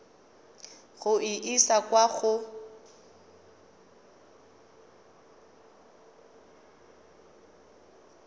go e isa kwa go